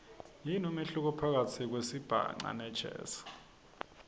yini umehluko phakatsi kwesibhaca nejazz